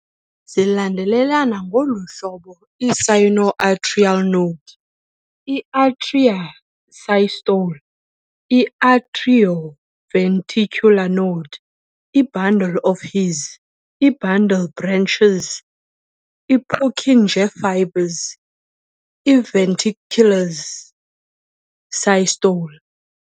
Zilandelelana ngolu hlobo- I-Sino-Atrial Node - i-Atria systole - i-Atrio-Ventricular Node - i-Bundle of His - i-Bundle branches - i-Purkinje Fibers - i-Ventricles systole